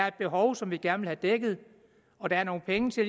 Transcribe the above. et behov som vi gerne vil have dækket og der er nogle penge så